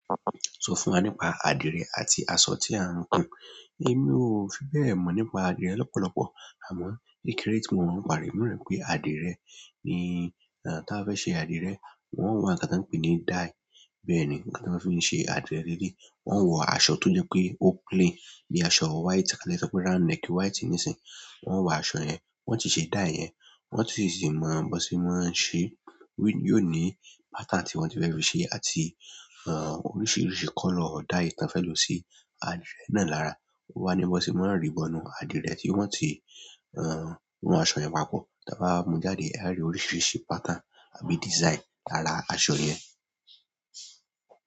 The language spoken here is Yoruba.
Sọ fún wa nípa àdìrẹ àti aṣọ tí a ń gùn. Èmi ò fi bẹ́ẹ̀ mọ̀ nípa àdìrẹ lọ́pọ̀lọpọ̀. Amọ, kékeré ti mo mọ n pa rẹ oun náà nipe adirẹ, ti a ba fẹ se adirẹ. Won o wa nǹkan tan n pe ni díẹ̀. Bẹ́ẹ̀ni, nǹkan tan mọ n fi ń ṣe àdìrẹ leleyi. Wọ́n ń wọ aṣọ tó jẹ pé ó clean, bí i aṣọ white tàbí ka sọpe round neck white nísìí. Wọ́n ń wọ aṣọ yẹn, wọ́n sì ṣe dai yẹn, wọ́n sì ti máa bọ́n sí máa ń ṣẹ́. Yóò ní pattern tí wọ́n ti fẹ́ fi ṣe àti, ehn, oríṣiríṣi color ọ̀dà èyí tan fẹ́ lò sí àdìrẹ náà lára. Ó wá ní bọ́n se maá rì bọnú àdìrẹ tí wọ́n ti ran, ran aṣọ yẹn papọ̀. Tan bá wa mú jáde, a á rí oríṣiríṣi pattern àbí design lára aṣọ yẹn.